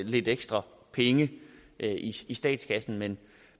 lidt ekstra penge i statskassen men